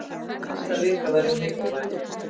Næsta vika verður mikilvæg.